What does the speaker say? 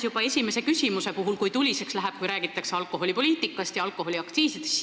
Juba esimese küsimuse puhul oli näha, kui tuliseks läheb, kui räägitakse alkoholipoliitikast ja alkoholiaktsiisidest.